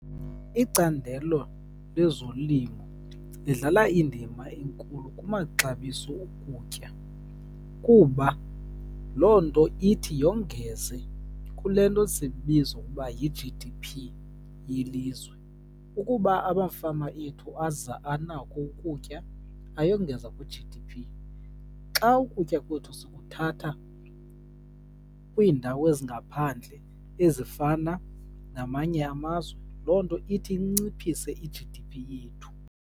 Icandelo lezolimo lidlala indima enkulu kumaxabiso okutya, kuba loo nto ithi yongeze kule nto siyibiza ukuba yi-G_D_P yelizwe. Ukuba amafama ethu aza anako ukutya, ayongeza kwi-G_D_P. Xa ukutya kwethu sikuthatha kwiindawo ezingaphandle ezifana namanye amazwe, loo nto ithi inciphise i-G_D_P yethu.